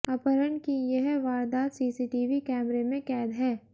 अपहरण की यह वारदात सीसीटीवी कैमरे में कैद है